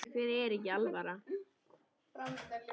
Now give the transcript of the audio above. Ykkur er ekki alvara!